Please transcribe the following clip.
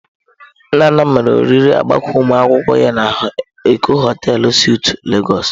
Nnanna mere oriri agbamakwụkwọ ya na Eko hotei suitụ Lagos.